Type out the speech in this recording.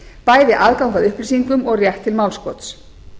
bæði aðgang að upplýsingum og rétt til málskots